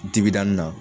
Digidani na